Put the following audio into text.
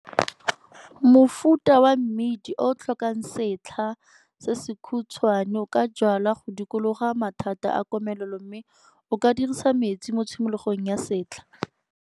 Mofuta wa mmidi o o tlhokang setlha se sekhutswane o ka jwalwa go dikologa mathata a komelelo mme o ka dirisa metsi mo tshimologong ya setlha.